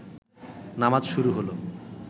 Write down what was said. নামাজ শুরু হল